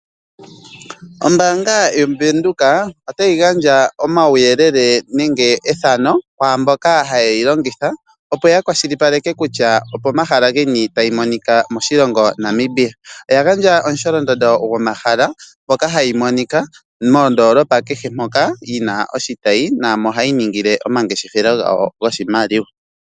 Ombaanga yoBank Windhoek otayi gandja omauyelele nenge ethano kwaamboka haye yi longitha opo ya kwashilipaleke kutya opomahala geni tayi monika moshilongo Namibia. Oya gandja omusholondondo gwomahala mpoka hayi monika moondoolopa kehe moka yina oshitayi naamo hayi ningile omangeshefelo gayo goshimaliwa.